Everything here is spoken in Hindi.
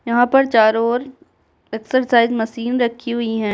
यहाँ पर चारों ओर एक्सरसाइज मशीन रखी हुई हैं।